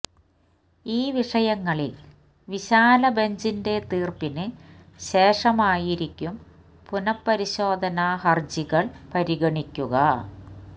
ഈ വിഷയങ്ങളിൽ വിശാല ബെഞ്ചിന്റെ തീർപ്പിന് ശേഷമായിരിക്കും പുനഃപരിശോധനാ ഹർജികൾ പരിഗണിക്കുക